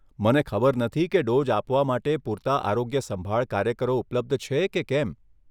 મને ખબર નથી કે ડોઝ આપવા માટે પૂરતા આરોગ્યસંભાળ કાર્યકરો ઉપલબ્ધ છે કે કેમ.